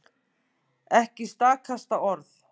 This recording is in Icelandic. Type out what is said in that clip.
Ekki stakasta orð.